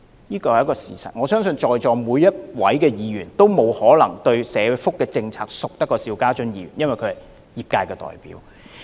這是事實，而我亦相信在席各位議員皆沒有可能比邵議員更熟悉社福制度，因為他是業界代表。